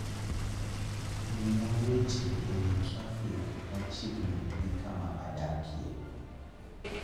miya weche ewi trafik machiegni gi kama adakie